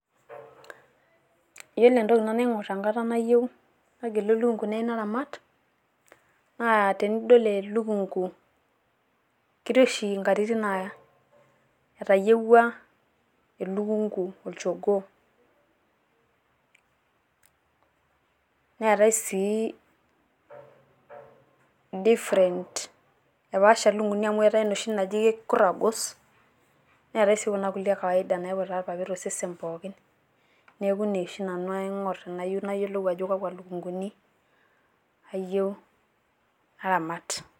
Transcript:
Yiolo entoki nanu naing'orr enkata nayieu nagelu elukungu nayieu naramat naa tenidol elukungu, ketii oshi nkatitin naa etayiewua elukungu olchogoo. Neetai sii different, epaasha lukunguni amu eeta inoshi naaji keikurragos neetai sii kuna kulie e kawaida naiputa ilpapit osesen pooki. Neeku ine oshi nanu aing'orr tenayieu nayiolou ajo kakwa lukunguni ayieu naramat.